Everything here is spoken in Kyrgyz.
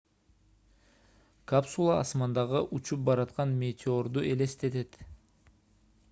капсула асмандагы учуп бараткан метеорду элестетет